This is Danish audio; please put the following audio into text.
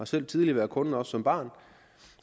selv tidligere været kunde også som barn